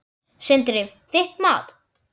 Sindri: Þitt mat?